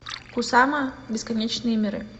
кусама бесконечные миры